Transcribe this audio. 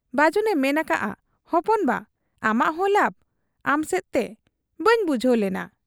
ᱵᱟᱹᱡᱩᱱᱮ ᱢᱮᱱ ᱟᱠᱟᱜ ᱟ, 'ᱦᱚᱯᱚᱱ ᱵᱟ ᱟᱢᱟᱜ ᱦᱚᱸ ᱞᱟᱵᱽ ᱟᱢᱥᱮᱫ ᱛᱮ ᱾ ᱵᱟᱹᱧ ᱵᱩᱡᱷᱟᱹᱣ ᱞᱮᱱᱟ ?'